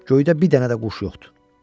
Göydə bir dənə də quş yoxdur.